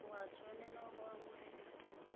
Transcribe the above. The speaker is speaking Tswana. o a tshwanela go amogela